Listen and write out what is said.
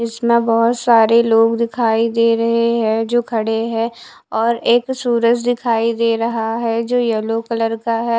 इसना बहोत सारे लोग दिखाई दे रहे हैं जो खड़े हैं और एक सूरज दिखाई दे रहा है जो येलो कलर का है।